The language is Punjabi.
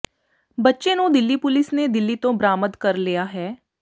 ਬੱਚੇ ਨੂੰ ਦਿੱਲੀ ਪੁਲਿਸ ਨੇ ਦਿੱਲੀ ਤੋਂ ਬਰਾਮਦ ਕਰ ਲਿਆ ਹੈ